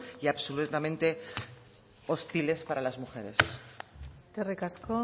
y absolutamente hostiles para las mujeres eskerrik asko